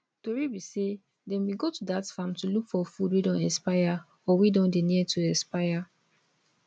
tori be say dem bin go to dat farm to look for food wey don expire or wey don dey near to expire